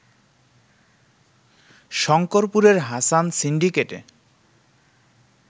শংকরপুরের Hasan সিন্ডিকেটে